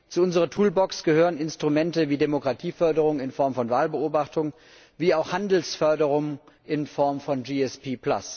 Zu unserer Toolbox gehören Instrumente wie Demokratieförderung in Form von Wahlbeobachtung, wie auch Handelsförderung in Form von GSP.